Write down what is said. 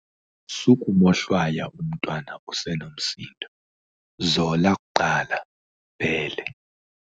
Sukumohlwaya umntwana usenomsindo, zola kuqala, Bhele.